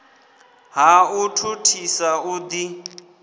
ha u thuthisa u ḓi